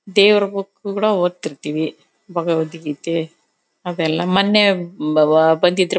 ದೇವ್ರ ಬುಕ್ ಕೂಡ ಒದ್ತ ಇರ್ತೀವಿ ಭಗವತ್ಗೀತೆ ಅವೆಲ್ಲ ಮೊನ್ನೆ ಬಂದಿದ್ರು.